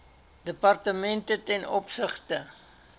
departemente ten opsigte